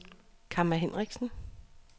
Kamma Henriksen